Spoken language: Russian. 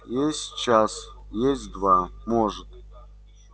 есть час есть два может